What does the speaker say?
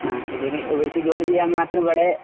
ആ ഇതിന് ഇവർക്ക് ജോലി ചെയ്യാൻ മാത്രം ഇവിടെ